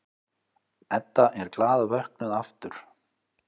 Edda er glaðvöknuð aftur.